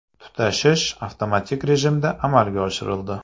Tutashish avtomatik rejimda amalga oshirildi.